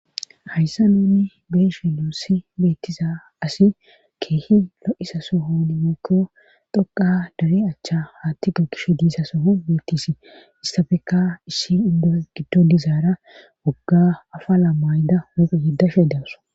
hayssa nuunni beeshe luussi beettiza asi keehi lo7isa sohon mookko dhoqa dare achcha haatti go kishe diisa sohon beettisi issafeka issi indo giddo dizaara wogga afa laam maayda muphu yeddashe deaso